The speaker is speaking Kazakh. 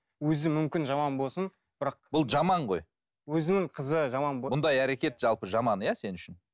өзі мүмкін жаман болсын бірақ бұл жаман ғой өзінің қызы жаман бұндай әрекет жалпы жаман иә сен үшін